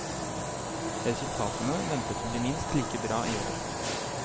Resultatene ventes å bli minst like bra i år.